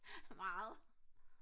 meget